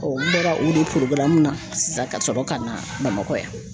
n bɔra o de na sisan ka sɔrɔ ka na Bamakɔ yan